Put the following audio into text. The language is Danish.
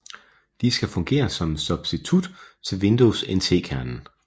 De skal fungere som en substitut til Windows NT kernen